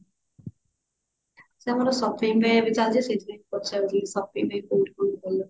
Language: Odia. ସେ ଆମର shopping ଏବେ ଚାଲିଛି ସେଇଥିପାଇଁ ପଚାରୁଥିଲି shopping ର କୋଉଠି କଣ ଭଲ